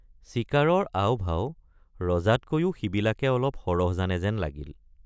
চিকাৰৰ আওভাও ৰজাতকৈও সিবিলাকে অলপ সৰহ জানে যেন লাগিল।